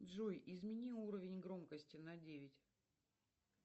джой измени уровень громкости на девять